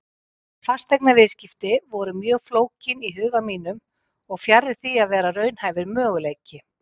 Fasteignaviðskipti voru mjög flókin í huga mínum og fjarri því að vera raunhæfur möguleiki.